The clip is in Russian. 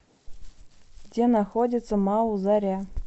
где находится мау заря